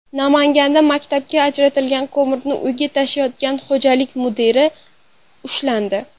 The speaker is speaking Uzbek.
Namanganda maktabga ajratilgan ko‘mirni uyiga tashiyotgan xo‘jalik mudiri ushlandi.